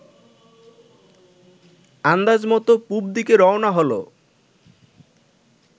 আন্দাজমত পুব দিকে রওনা হল